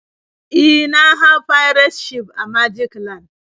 E, na hau pirate ship a magic land.